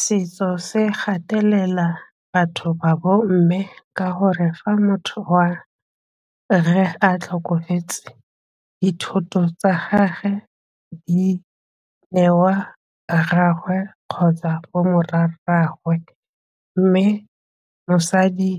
Setso se gatelela batho ba bomme ka gore fa motho wa rre a tlhokafetse dithoto tsa gagwe di newa rraagwe kgotsa bomorwarragwe mme mosadi